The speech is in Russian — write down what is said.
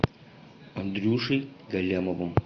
андрюшей галлямовым